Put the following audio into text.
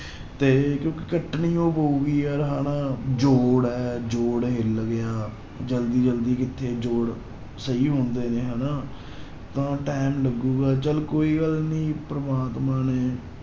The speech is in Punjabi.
ਤੇ ਕਿਉਂਕਿ ਕੱਟਣੀ ਹੋ ਪਊਗੀ ਯਾਰ ਹਨਾ ਜੋੜ ਹੈ ਜੋੜ ਹਿੱਲ ਗਿਆ, ਜ਼ਲਦੀ ਜ਼ਲਦੀ ਕਿੱਥੇ ਜੋੜ ਸਹੀ ਹੁੰਦੇ ਨੇ ਹਨਾ ਤਾਂ time ਲੱਗੇਗਾ ਚੱਲ ਕੋਈ ਗੱਲ ਨੀ ਪ੍ਰਮਾਤਮਾ ਨੇ